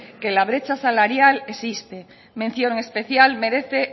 que la brecha salarial existe mención especial merece